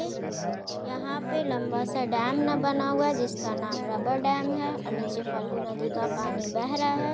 ये यहाँ पे लम्बा सा डैम ना बना हुआ है जिसका नाम रबर डैम है और नीचे फल्गु नदी का पानी बह रहा है |